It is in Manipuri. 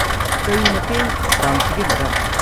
ꯀꯔꯤ ꯃꯇꯦꯡ ꯄꯥꯡꯁꯤꯒꯦ, ꯃꯦꯗꯥꯝ?